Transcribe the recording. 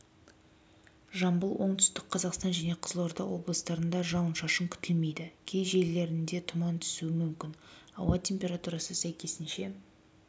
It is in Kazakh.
жамбыл оңтүстік қазақстан және қызылорда облыстарында жауын-шашын күтілмейді кей жерлерінде тұман түсуі мүмкін ауа температурасы сәйкесінше